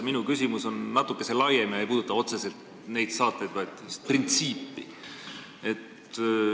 Minu küsimus on natukese laiem, see ei puuduta otseselt neid saateid, vaid üldist printsiipi.